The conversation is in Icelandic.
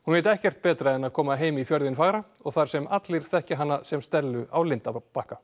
veit ekkert betra en að koma heim í fjörðinn fagra þar sem allir þekkja hana sem Stellu á lindarbakka